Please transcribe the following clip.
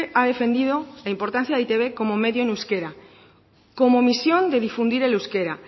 ha defendido la importancia de e i te be como medio en euskera como misión de difundir el euskera